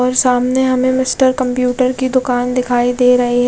और सामने हमे मिस्टर कंप्यूटर की दूकान दिखाई दे रही है।